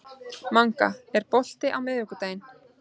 Manga, er bolti á miðvikudaginn?